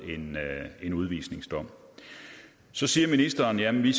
en udvisningsdom så siger ministeren jamen vi